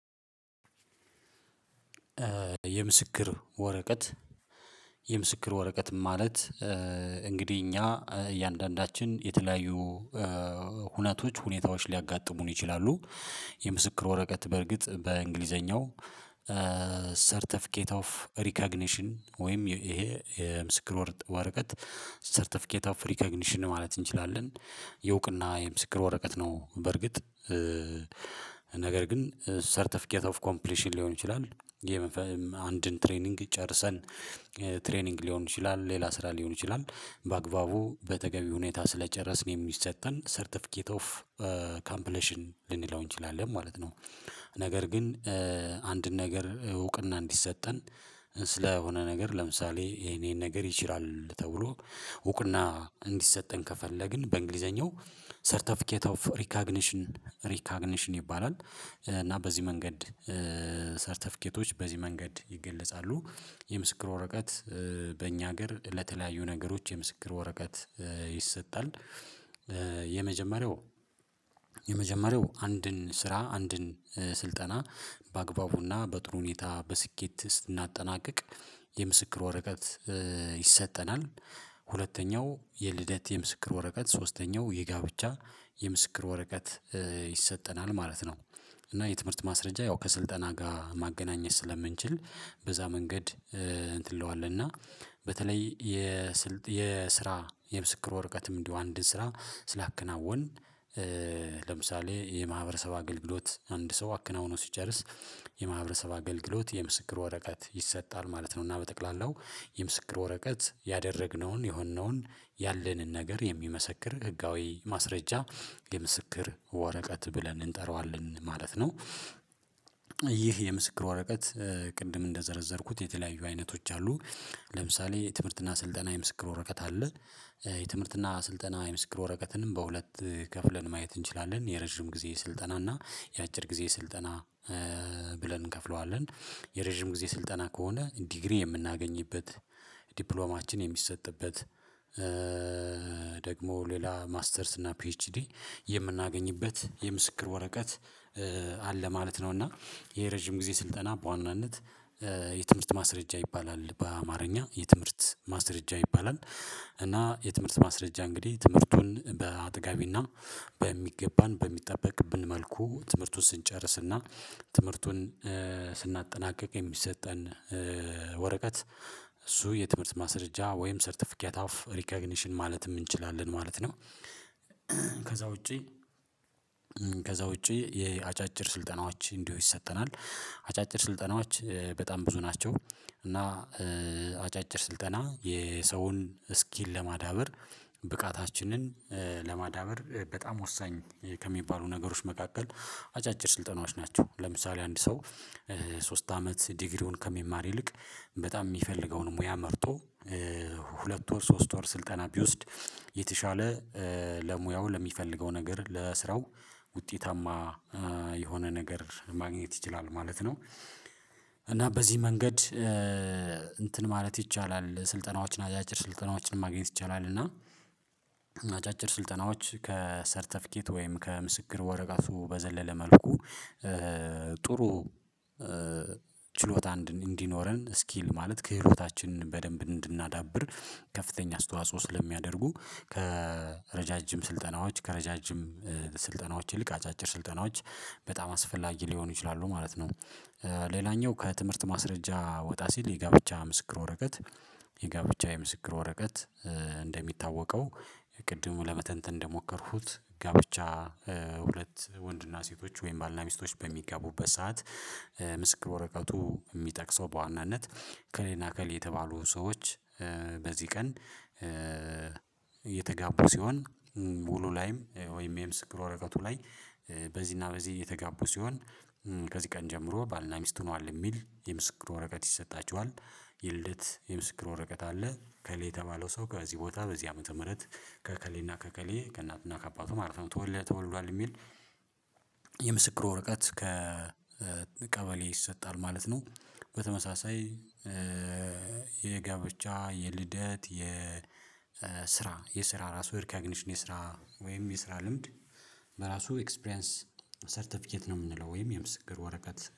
የምስክር ወረቀት የምስክር ወረቀት ማለት እንግዲህ እኛ እያንዳንዳችን የተለያዩ ሁነቶች ሁኔታዎች ሊያጋጥሙን ይችላሉ። የምስክር ወረቀት በርግጥ በእንግሊዘኛው ሰርተፊኬት ኦፍ ሪካግኒሽን ወይም ይሄ የምስክር ወርቀት ሰርተፊኬት ኦፍ ሪካግኒሽን ማለት እንችላለን የእውቅና የምስክር ወረቀት ነው። በርግጥ ነገር ግን ሰርተፊኬት ኦፍ ኮምፕሊሽን ሊሆን ይችላል ይሄ አንድን ትሬኒንግ ጨርሰን ትሬኒንግ ሊሆን ይችላል ሌላ ስራ ሊሆን ይችላል በአግባቡ በተገቢ ሁኔታ ስለጨረስን የሚሰጠን ሰርተፊኬት ኦፍ ካምፕሌሽን ልንለው እንችላለን ማለት ነው። ነገር ግን አንድን ነገር እውቅና እንዲሰጠን ስለሆነ ነገር ለምሳሌ የኔን ነገር ይችላል ተብሎ እውቅና እንዲሰጠን ከፈለግን በእንግሊዘኛው ሰርተፊኬት ኦፍ ሪካግኒሽን ሪካግኒሽን ይባላል እና በዚህ መንገድ በዚህ መንገድ ይገለጻሉ የምስክር ወረቀት በእኛ ሀገር ለተለያዩ ነገሮች የምስክር ወረቀት ይሰጣል። የመጀመሪያው የመጀመሪያው አንድን ስራ አንድን ስልጠና በአግባቡና በጥሩ ሁኔታ በስኬት ስናጠናቅቅ የምስክር ወረቀት ይሰጠናል። ሁለተኛው የልደት የምስክር ወረቀት ሶስተኛው የጋብቻ የምስክር ወረቀት ይሰጠናል ማለት ነው። እና የትምህርት ማስረጃ ያው ከስልጠና ጋር ማገናኘት ስለምንችል በዛ መንገድ እንትን ለዋል እና በተለይ የስልጥ የስራ የምስክር ወርቀትም እንዲሁ አንድ ስራ ስላከናወን ለምሳሌ የማህበረሰብ አገልግሎት አንድ ሰው አክናውኖ ሲጨርስ የማህበረሰብ አገልግሎት የምስክር ወረቀት ይሰጣል ማለት ነው። እና በጠቅላላው የምስክር ወረቀት ያደረግነውን የሆንነውን ያለንን ነገር የሚመሰክር ህጋዊ ማስረጃ የምስክር ወረቀት ብለን እንጠራዋለን ማለት ነው። ይህ የምስክር ወረቀት ቅድም እንደዘረዘርኩት የተለያዩ አይነቶች አሉ ለምሳሌ የትምህርትና ስልጠና የምስክር ወረቀት አለ። የትምህርትና ስልጠና የምስክር ወረቀትንም በሁለት ከፍለን ማየት እንችላለን የረጅም ጊዜ ስልጠና የአጭር ጊዜ ስልጠና ብለን እንከፍለዋለን። የረጅም ጊዜ ስልጠና ከሆነ ዲግሪ የምናገኝበት ዲፕሎማችን የሚሰጥበት ደግሞ ሌላ ማስተርስ እና ፒኤችዲ የምናገኝበት የምስክር ወረቀት አለ ማለት ነው። እና ይሄ ረጅም ጊዜ ስልጠና በዋናነት የትምህርት ማስረጃ ይባላል በአማርኛ የትምህርት ማስረጃ ይባላል። እና የትምህርት ማስረጃ እንግዲህ ትምህርቱን በአጥጋቢና በሚገባን በሚጠበቅብን መልኩ ትምህርቱን ስንጨርስና ትምህርቱን ስናጠናቅቅ የሚሰጠን ወረቀት እሱ የትምህርት ማስረጃ ወይም ሰርተፊኪያት አፍ ሪኮግኒሽን ማለትም እንችላለን ማለት ነው። ውጪ ከዛ ውጪ የአጫጭር ስልጠናዎች እንዲሁ ይሰጠናል አጫጭር ስልጠናዎች በጣም ብዙ ናቸው። እና አጫጭር ስልጠና የሰውን ስኪል ለማዳበር ብቃታችንን ለማዳበር በጣም ወሳኝ ከሚባሉ ነገሮች መካከል አጫጭር ስልጠናዎች ናቸው። ለምሳሌ አንድ ሰው ሶስት አመት ዲግሪውን ከሚማር ይልቅ በጣም የሚፈልገውን ሙያ መርጦ ሁለት ወር ሶስት ወር ስልጠና ቢወስድ የተሻለ ለሙያው ለሚፈልገው ነገር ለስራው ውጤታማ የሆነ ነገር ማግኘት ይችላል ማለት። እና በዚህ መንገድ እንትን ማለት ይቻላል ስልጠናዎችን አጫጭር ስልጠናዎችን ማግኘት ይቻላል እና አጫጭር ስልጠናዎች ከሰርተፊኬት ወይም ከምስክር ወረቀቱ በዘለለ መልኩ ጥሩ ችሎታ እንዲኖረን ስኪል ማለት ክህሎታችን በደንብ እንድናዳብር ከፍተኛ አስተዋጽኦ ስለሚያደርጉ ከረዣዥም ስልጠናዎች ከረዣዥም ስልጠናዎች ይልቅ አጫጭር ስልጠናዎች በጣም አስፈላጊ ሊሆኑ ይችላሉ ማለት ነው። ሌላኛው ከትምህርት ማስረጃ ወጣ ሲል የጋብቻ ምስክር ወረቀት የጋብቻ የምስክር ወረቀት እንደሚታወቀው ቅድሙ ለመተንተን እንደሞከርኩት ጋብቻ ሁለት ወንድና ሴቶች ወይም ባልና ሚስቶች በሚጋቡበት ሰዓት ምስክር ወረቀቱ የሚጠቅሰው በዋናነት እከሌና እከሌ የተባሉ ሰዎች በዚህ ቀን የተጋቡ ሲሆን ውሉ ላይም ወይም የምስክር ወረቀቱ ላይ በዚህና በዚህ የተጋቡ ሲሆን ከዚህ ቀን ጀምሮ ባልና ሚስት ሆኗል የሚል የምስክር ወረቀት ይሰጣቸዋል። የልደት የምስክር ወረቀት አለ ከሌላ የተባለው ሰው ከዚህ ቦታ በዚህ ዓመተ ምህረት ከእከሌና ከእከሌ ከእናትና ከአባቱ ማለት ነው ተወልዷል ተወልዷል የሚል የምስክር ወረቀት ከቀበሌ ይሰጣል ማለት ነው። በተመሳሳይ የጋብቻ የልደት የስራ የስራ ራሱ የርካግኒሽን የስራ ወይም የስራ ልምድ በራሱ ኤክስፕሪያንስ ሰርተፊኬት ነው የምንለው ወይም የምስክር ወረቀት